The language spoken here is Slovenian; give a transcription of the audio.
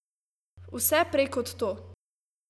Vse prej kot to.